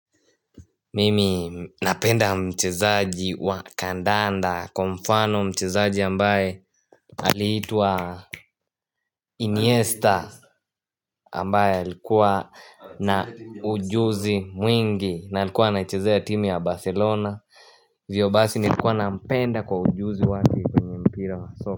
Mimi napenda mchezaji wa kandanda kwa mfano mchezaji ambaye aiitwa Iniesta ambaye alikuwa na ujuzi mwingi na alikuwa anachezea timu ya Barcelona Vyo basi nilikuwa nampenda kwa ujuzi wake kwenye mpira wa soka.